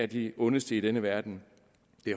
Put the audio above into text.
de ondeste i denne verden